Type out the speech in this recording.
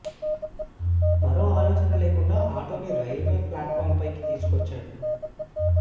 మరో ఆలోచన లేకుండా ఆటోని రైల్వే ప్లాట్ ఫాం పైకి తీసుకొచ్చాడు